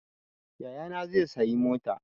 Yayana zai sayi mota